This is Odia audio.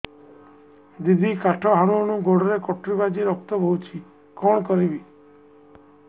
ଦିଦି କାଠ ହାଣୁ ହାଣୁ ଗୋଡରେ କଟୁରୀ ବାଜି ରକ୍ତ ବୋହୁଛି କଣ କରିବି